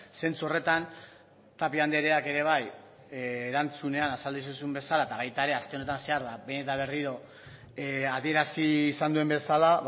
zentzu horretan tapia andreak ere bai erantzunean azaldu zizun bezala eta baita ere aste honetan zehar behin eta berriro adierazi izan duen bezala